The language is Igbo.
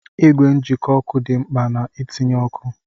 Ìgwè njikọ ọkụ dị mkpa na-itinye ọkụ